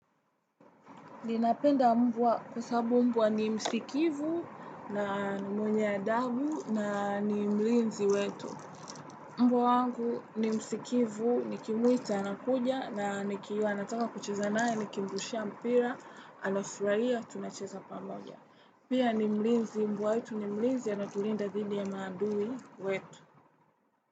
Ninapenda mbwa kwa sababu mbwa ni msikivu na mwenye adabu na ni mlinzi wetu. Mbwa wangu ni msikivu, nikimuita anakuja na nikiwa nataka kucheza naye, nikimrushia mpira, anafurahia, tunacheza pamoja. Pia ni mlinzi mbwa wetu ni mlinzi anatulinda dhidi ya maadui wetu.